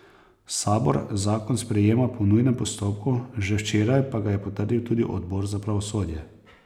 Sabor zakon sprejema po nujnem postopku, že včeraj pa ga je potrdil tudi odbor za pravosodje.